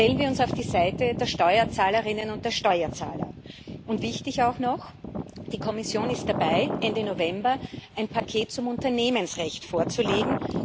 Stellen wir uns auf die Seite der Steuerzahlerinnen und der Steuerzahler! Wichtig auch noch Die Kommission ist dabei, Ende November ein Paket zum Unternehmensrecht vorzulegen.